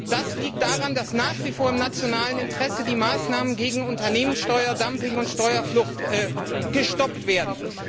Das liegt daran, dass nach wie vor im nationalen Interesse die Maßnahmen gegen Unternehmenssteuer, Dumping, und Steuerflucht gestoppt werden.